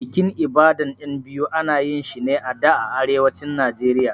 Bikin Ibadan ƴan biyu ana yinshi ne a da a Arewacin Nijeriya